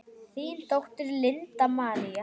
Þín dóttir, Linda María.